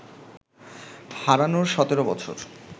হারানোর সতেরো বছর